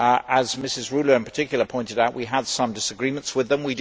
As Mrs Rühle in particular pointed out, we had some disagreements with them.